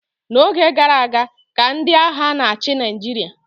n'oge gara aga ka ndị agha na-achị Naịjirịa